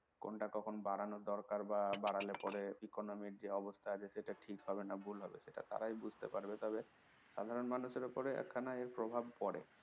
কোনটা কখন বাড়ানোর দরকার বা বাড়ালে পরে economy এর যে অবস্থা এদেশে সেটা ঠিক হবে না ভুল হবে সেটা তারাই বুঝতে পারবে তবে সাধারণ মানুষের উপর একখানা এর প্রভাব পড়ে